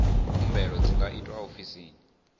khumbelo dzi nga itwa ofisini